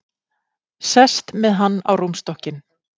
Sest með hann á rúmstokkinn.